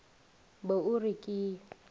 be o re ke e